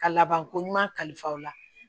Ka labankoɲuman kalifa o la